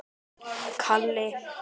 Bjórinn var búinn.